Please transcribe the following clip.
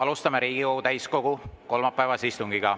Alustame Riigikogu täiskogu kolmapäevast istungit.